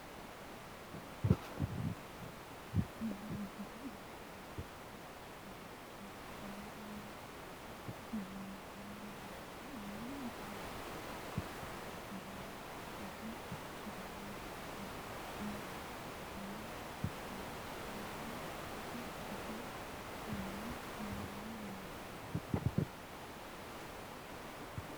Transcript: tenne misile aana noorina tini misile xawissannori maati yinummoro beetto umo duumme shaaribbenni usudhitte jawannunni bunna xorishshidhanni nootti sase siinne mulla nootta